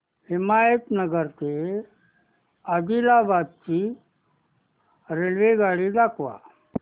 हिमायतनगर ते आदिलाबाद ची रेल्वेगाडी दाखवा